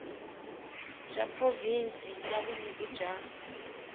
bya provhinsi bya vunyiki bya